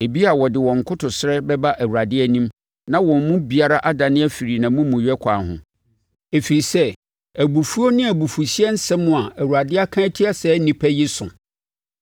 Ebia wɔde wɔn nkotosrɛ bɛba Awurade anim na wɔn mu biara adane afiri nʼamumuyɛ akwan ho, ɛfiri sɛ abufuo ne abufuhyeɛ nsɛm a Awurade aka atia saa nnipa yi so.”